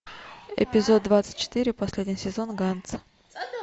эпизод двадцать четыре последний сезон ганс